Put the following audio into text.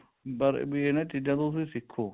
ਬਾਰੇ ਵੀ ਇਹਨਾ ਚੀਜ਼ਾਂ ਤੋਂ ਤੁਸੀਂ ਸਿੱਖੋ